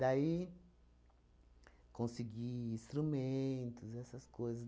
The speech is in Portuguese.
Daí, consegui instrumentos, essas coisas.